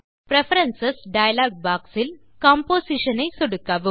preference dialogue box இல் composition ஐ சொடுக்கவும்